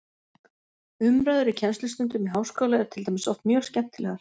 Umræður í kennslustundum í háskóla eru til dæmis oft mjög skemmtilegar.